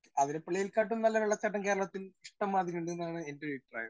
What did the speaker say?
Speaker 1 ആതിരപ്പള്ളിയെ കാട്ടും നല്ല വെള്ളച്ചാട്ടം കേരളത്തിൽ ഇഷ്ട്ടംമാതിരി ഉണ്ട് എന്നാണ് എന്റെ ഒരു അഭിപ്രായം.